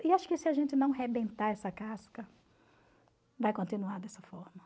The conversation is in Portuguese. E acho que se a gente não rebentar essa casca, vai continuar dessa forma.